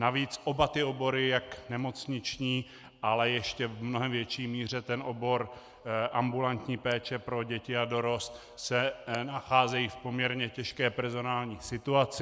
Navíc oba ty obory, jak nemocniční, ale ještě v mnohem větší míře ten obor ambulantní péče pro děti a dorost, se nacházejí v poměrně těžké personální situaci.